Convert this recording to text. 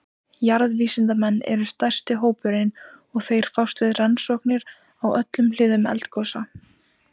Jarðvísindamenn eru stærsti hópurinn og þeir fást við rannsóknir á öllum hliðum eldgosa.